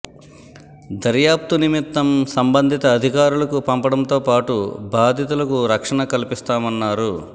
దర్యాప్తు నిమిత్తం సంబ ంధిత అధికారు లకు పంపండంతో పాటు బాధితు లకు రక్షణ కల్పిస్తామన్నారు